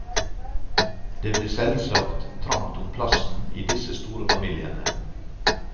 Det ble selvsagt trangt om plassen i disse store familiene.